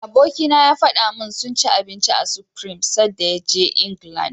Abikina ya faɗa min sun ci abinci a Supreme sadda ya je England.